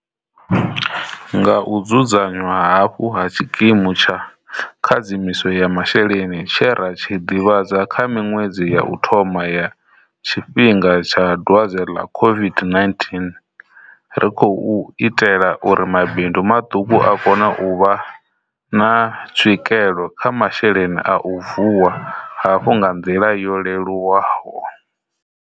Nga u dzudzanywa hafhu ha tshikimu tsha khadzimiso ya masheleni tshe ra tshi ḓivhadza kha miṅwedzi ya u thoma ya tshifhinga tsha dwadze ḽa COVID-19, ri khou itela uri mabindu maṱuku a kone u vha na tswikelo kha masheleni a u vuwa hafhu nga nḓila yo leluwaho.